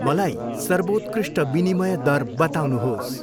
मलाई सर्वोत्कृष्ट विनिमय दर बताउनुहोस्।